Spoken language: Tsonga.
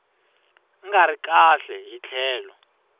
nga ri kahle hi tlhelo